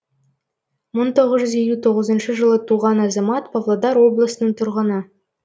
мың тоғыз жүз елу тоғызыншы жылы туған азамат павлодар облысының тұрғыны